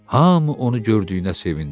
Hamı onu gördüyünə sevindi.